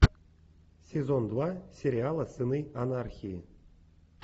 сезон два сериала сыны анархии